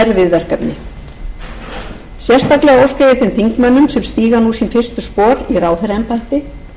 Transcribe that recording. verkefni sérstaklega óska ég þeim þingmönnum sem stíga nú sín fyrstu spor í ráðherraembætti